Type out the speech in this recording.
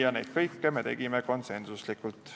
Kõik need otsused tegime konsensuslikult.